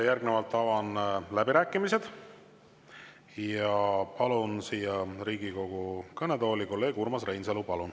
Järgnevalt avan läbirääkimised ja palun siia Riigikogu kõnetooli kolleeg Urmas Reinsalu.